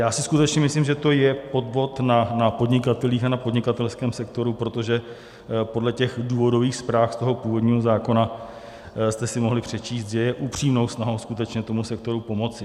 Já si skutečně myslím, že to je podvod na podnikatelích a na podnikatelském sektoru, protože podle těch důvodových zpráv z toho původního zákona jste si mohli přečíst, že je upřímnou snahou skutečně tomu sektoru pomoci.